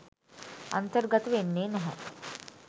අන්තර්ගත වෙන්නේ නැහැ.